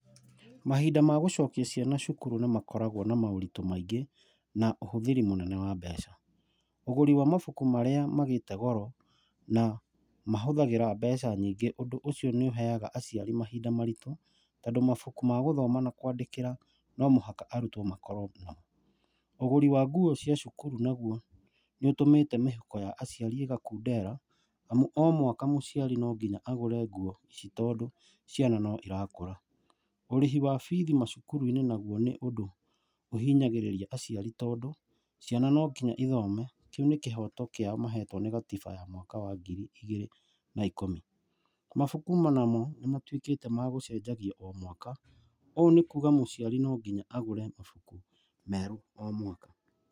Mahinda ma gũcokia ciana cukuru nĩ makoragwo na moritũ maingĩ na ũhũthĩri mũnene wa mbeca. Ũgũri wa mabuku marĩa magĩte goro na mahũthagĩra mbeca nyingĩ. Ũndũ ũcio nĩ ũheaga aciari mahinda maritũ tondũ mabuku ma gũthoma na kwandĩkĩra no mũhaka arutwo makorwo namo. Ũgũri wa nguo cia cukuru naguo, nĩ ũtũmĩte mĩhuko ya aciari ĩgakundera, nĩ amu o mwaka no nginya agũre nguo ici tondũ ciana no irakũra. Ũrĩhi wa bithi macukuru-inĩ naguo nĩ ũndu ũhinyagĩrĩria aciari tondũ ciana no nginya ithome., kĩu nĩ kĩhoto kiao mahetwo nĩ gatiba ya mwaka wa ngiri igĩrĩ na ikũmi. Mabuku onamo nĩmatuĩkĩte ma gũcenjio o mwaka, ũũ nĩ kuga atĩ mũciari no nginya agũre mabuku merũ o mwaka.